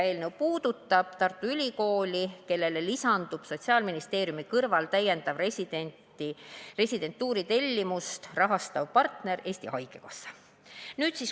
Eelnõu puudutab Tartu Ülikooli, kellele lisandub Sotsiaalministeeriumi kõrval täiendava residentuuri tellimust rahastava partnerina Eesti Haigekassa.